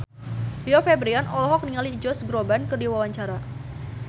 Rio Febrian olohok ningali Josh Groban keur diwawancara